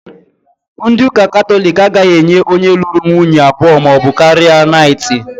Ndị ụ́kà Kataloki agaghị èchí onye lụrụ nwunye abụọ maọbụ karịa naịtị.